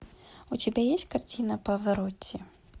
у тебя есть картина паваротти